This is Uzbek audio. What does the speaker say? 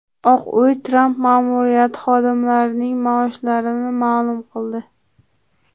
Oq uy Tramp ma’muriyati xodimlarining maoshlarini ma’lum qildi.